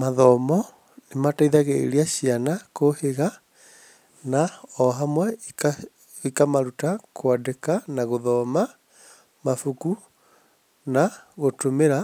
Mathomo nĩmateithagĩrĩria ciana kũũhĩga na ohamwe ikamaruta kwandĩka na gũthoma mabuku na gũtũmĩra,